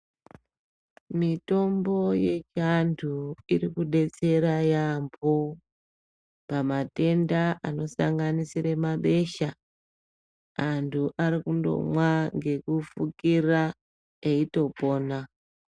Mitombo yechiantu irikudetsera yambo pamatenda anosanganisira mabesha, antu ari kundomwa ngekufukira eitopona.